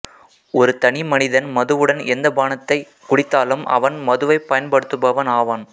ஒரு தனி மனிதன் மதுவுடன் எந்தப் பானத்தைக் குடித்தாலும் அவன் மதுவைப் பயன்படுத்துபவன் ஆவான்